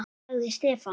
sagði Stefán.